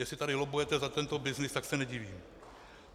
Jestli tady lobbujete za tento byznys, tak se nedivím.